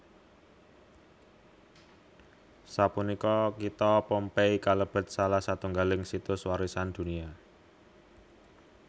Sapunika kitha Pompeii kalebet salah satunggaling Situs Warisan Dunia